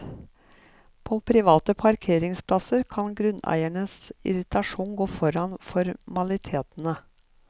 På private parkeringsplasser kan grunneiers irritasjon gå foran formalitetene.